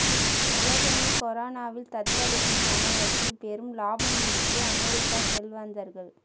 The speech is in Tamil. உலகமே கொரோனாவில் தத்தளித்த சமயத்தில் பெரும் லாபம் ஈட்டிய அமெரிக்க செல்வந்தர்கள்